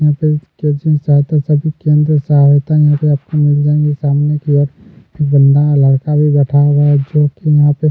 यहाँ पे केंद्रीय सहायता सब केंद्रीय सहायता यहाँ पे आपको मिल जाएंगे सामने की ओर बंदा लड़का भी बैठा होगा एक जो की यहाँ पे --